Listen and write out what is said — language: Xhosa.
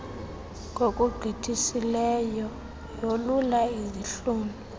ngokugqithisileyo yolula izihlunu